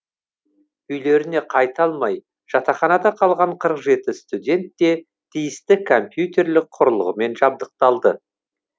үйлеріне қайта алмай жатақханада қалған қырық жеті студент те тиісті компьютерлік құрылғымен жабдықталды